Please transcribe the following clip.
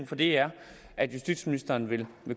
for det er at justitsministeren vil